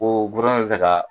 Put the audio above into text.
Ko gofɛrɛnaman de be fɛ ka